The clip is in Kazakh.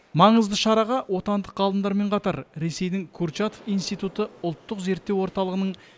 маңызды шараға отандық ғалымдармен қатар ресейдің курчатов институты ұлттық зерттеу орталығының